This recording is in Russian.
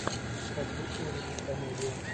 хочу увидеть комедию